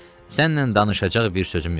Sənlə danışacaq bir sözüm yoxdu.